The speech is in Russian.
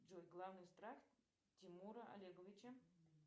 джой главный страх тимура олеговича